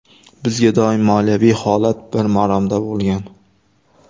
Bizda doim moliyaviy holat bir maromda bo‘lgan.